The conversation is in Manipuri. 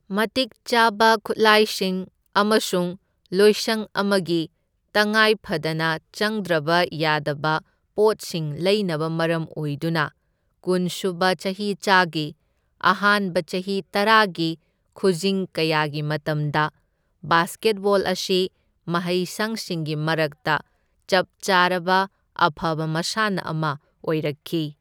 ꯃꯇꯤꯛ ꯆꯥꯕ ꯈꯨꯠꯂꯥꯏꯁꯤꯡ ꯑꯃꯁꯨꯡ ꯂꯣꯏꯁꯪ ꯑꯃꯒꯤ ꯇꯉꯥꯏ ꯐꯗꯅ ꯆꯪꯗ꯭ꯔꯕ ꯌꯥꯗꯕ ꯄꯣꯠꯁꯤꯡ ꯂꯩꯅꯕ ꯃꯔꯝ ꯑꯣꯏꯗꯨꯅ ꯀꯨꯟ ꯁꯨꯕ ꯆꯍꯤꯆꯥꯒꯤ ꯑꯍꯥꯟꯕ ꯆꯍꯤ ꯇꯔꯥꯒꯤ ꯈꯨꯖꯤꯡ ꯀꯌꯥꯒꯤ ꯃꯇꯝꯗ ꯕꯥꯁꯀꯦꯠꯕꯣꯜ ꯑꯁꯤ ꯃꯍꯩꯁꯪꯁꯤꯡꯒꯤ ꯃꯔꯛꯇ ꯆꯞ ꯆꯥꯔꯕ ꯑꯐꯕ ꯃꯁꯥꯟꯅ ꯑꯃ ꯑꯣꯏꯔꯛꯈꯤ꯫